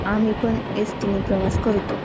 आम्ही पण एस_टी ने प्रवास करतो.